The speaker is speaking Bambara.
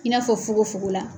I n'a fɔ fogonfogon la.